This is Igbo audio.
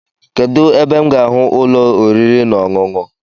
Kedu ebe m ga ahụ ụlọ oriri na-ọṅụṅụ